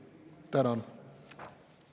Tänan!